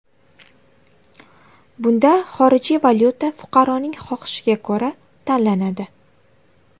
Bunda xorijiy valyuta fuqaroning xohishiga ko‘ra tanlanadi.